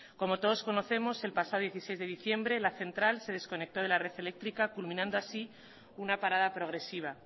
como todos conocemos el pasado dieciséis de diciembre la central de desconectó de la red eléctrica culminando así una parada progresiva